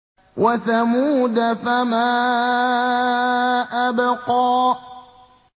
وَثَمُودَ فَمَا أَبْقَىٰ